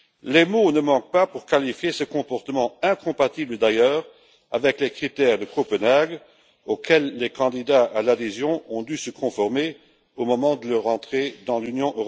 Les mots ne manquent pas pour qualifier ce comportement, incompatible d'ailleurs avec les critères de Copenhague, auxquels les candidats à l'adhésion ont dû se conformer au moment de leur entrée dans l'Union.